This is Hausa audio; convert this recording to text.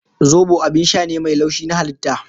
Zobo abin sha ne mai laushi na halitta